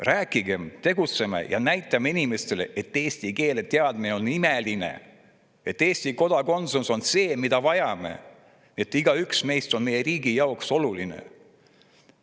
Räägime, tegutseme ja näitame inimestele, et eesti keele on imeline, et Eesti kodakondsus on see, mida me vajame, et igaüks meist on meie riigi jaoks oluline.